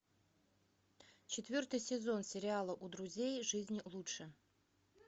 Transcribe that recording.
четвертый сезон сериала у друзей жизнь лучше